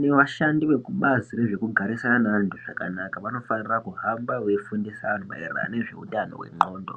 nevashandi vekubazi rezvekugarisana neantu zvakanaka vanofanira kuhamba veifundisa antu maererano ngezveutano hwendxondo.